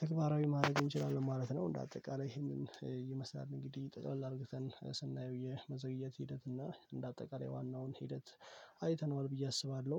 ተግባራዊ ማድረግ እንችላለን ማለት ነው። እንደ አጠቃላይ ይሄንን ይመስላል እንግዲህ ጠቅላይ አድርገን ስናየው የመዘግየት ሂደት እና እንደ አጠቃላይ ዋናውን ሂደት አይተነዋል ብዬ አስባለሁ